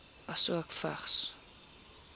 asook vigs